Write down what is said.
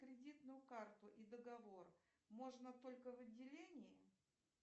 кредитную карту и договор можно только в отделении